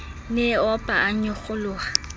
ne e opa a nyokgoloha